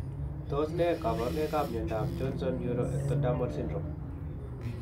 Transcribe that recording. Tos ne kaborunoikap miondop Johnson neuroectodermal syndrome?